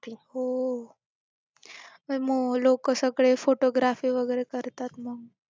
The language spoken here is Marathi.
हो. आणि मग लोकं सगळे photography वगैरे करतात मग.